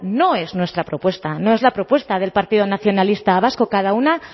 no es nuestra propuesta no es la propuesta del partido nacionalista vasco cada uno